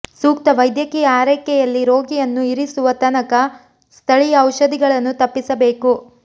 ಸೂಕ್ತ ವೈದ್ಯಕೀಯ ಆರೈಕೆಯಲ್ಲಿ ರೋಗಿಯನ್ನು ಇರಿಸುವ ತನಕ ಸ್ಥಳೀಯ ಔಷಧಿಗಳನ್ನು ತಪ್ಪಿಸಬೇಕು